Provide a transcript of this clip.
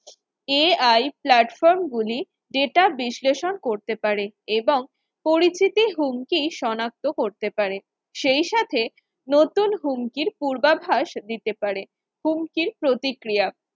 ai platform গুলি data বিশ্লেষণ করতে পারে এবং পরিচিতি হুমকি সনাক্ত করতে পারে সেই সাথে নতুন হুমকির পূর্বাভাস দিতে পারে, হুমকির প্রতিক্রিয়া